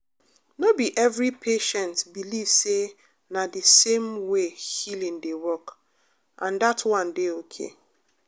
no be every patient believe say na the same way healing dey work — and that one dey okay.